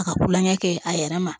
A ka kulonkɛ kɛ a yɛrɛ ma